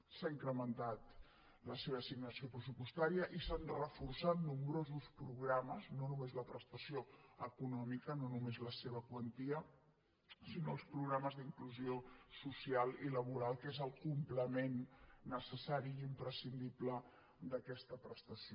s’ha incrementat la seva assignació pressupostària i s’han reforçat nombrosos programes no només la prestació econòmica no només la seva quantia sinó els programes d’inclusió social i laboral que és el complement necessari i imprescindible d’aquesta prestació